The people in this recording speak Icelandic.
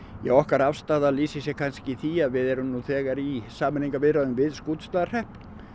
okkar afstaða lýsir sér kannski í því að við erum nú þegar í sameiningarviðræðum við Skútustaðahrepp